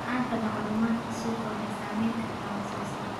La'aanta macluumaadka suuqa waxay saameyn kartaa wax soo saarka.